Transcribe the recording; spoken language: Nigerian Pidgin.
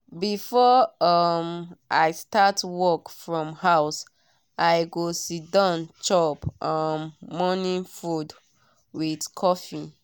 before um i start work from house i go siddon chop um morning food with coffee.